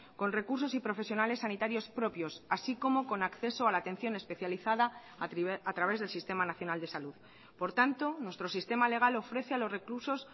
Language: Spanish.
con recursos y profesionales sanitarios propios así como con acceso a la atención especializada a través del sistema nacional de salud por tanto nuestro sistema legal ofrece a los reclusos